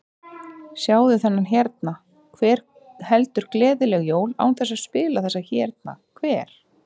Sjáðu þennan hérna, hver heldur gleðileg jól án þess að spila þessa hérna, hver?